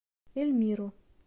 эльмиру